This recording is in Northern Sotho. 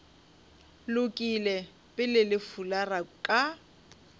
lokile pele le fulara ka